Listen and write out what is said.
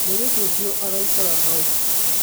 Mũirĩtu ũcio agĩikara hau